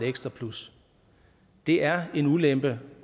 ekstra plus det er en ulempe